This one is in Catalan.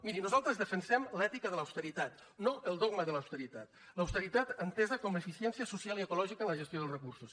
miri nosaltres defensem l’ètica de l’austeritat no el dogma de l’austeritat l’austeritat entesa com a eficiència social i ecològica en la gestió dels recursos